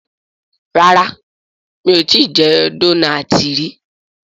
ràrá mi'o tí jé Dónáátì rí.